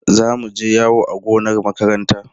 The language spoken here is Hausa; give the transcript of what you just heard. Za mu je yawo a gonar makaranta.